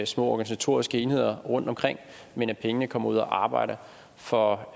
små organisatoriske enheder rundtomkring men at pengene kommer ud at arbejde for